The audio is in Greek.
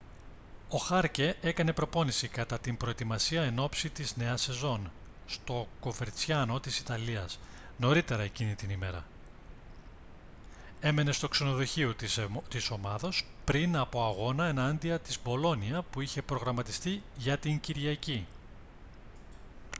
ο χάρκε έκανε προπόνηση κατά την προετοιμασία ενόψει της νέας σεζόν στο κοβερτσιάνο της ιταλίας νωρίτερα εκείνη την ημέρα έμενε στο ξενοδοχείο της ομάδας πριν από αγώνα εναντίον της μπολόνια που είχε προγραμματιστεί για την κυριακή